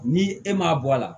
Ni e m'a bɔ a la